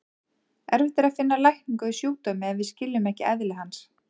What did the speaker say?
Erfitt er að finna lækningu við sjúkdómi ef við skiljum ekki eðli hans.